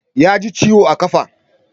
Ya ji ciwo a ƙafa